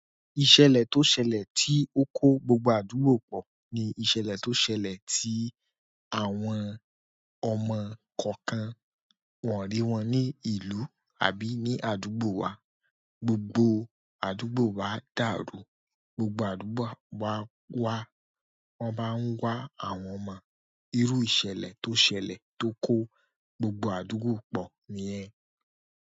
Ìṣẹ̀lẹ̀ tó ṣẹlẹ̀ tí ó kó gbogbo àdúgbò pọ̀ ni ìṣẹ̀lẹ̀ tó ṣẹlẹ̀ tí àwọn ọmọ kọ̀ọ̀kan wọ̀n rí wọn ní ìlú àbí ní àdúgbò wa. Gbogbo àdúgbò wa dàrú. Gbogbo àdúgbò wa wá, wọ́n ba ń wá àwọn ọmọ. Irú ìṣẹ̀lẹ̀ tó ṣẹlẹ̀ tó kó gbogbo àdúgbò pọ̀ nìyẹn.